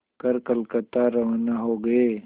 कर कलकत्ता रवाना हो गए